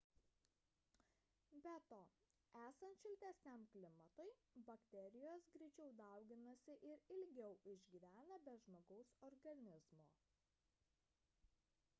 be to esant šiltesniam klimatui bakterijos greičiau dauginasi ir ilgiau išgyvena be žmogaus organizmo